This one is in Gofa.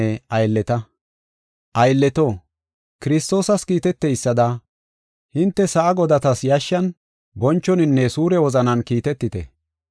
Aylleto, Kiristoosas kiiteteysada hinte sa7a godatas yashshan, bonchoninne suure wozanan kiitetite.